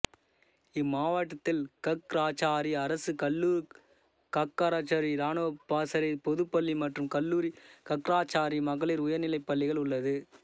இம்மாவட்டத்தில் கக்ராச்சாரி அரசு கல்லூரிகக்ராச்சாரி இராணுவப் பாசறை பொதுப் பள்ளி மற்றும் கல்லூரி கக்ராச்சாரி மகளிர் உயர்நிலைப் பள்ளிகள் உள்ளது